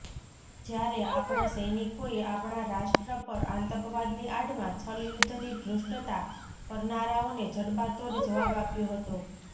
જ્યારે આપણા સૈનિકોએ આપણા રાષ્ટ્ર પર આતંકવાદની આડમાં છલયુદ્ધની ધૃષ્ટતા કરનારાઓને જડબાતોડ જવાબ આપ્યો હતો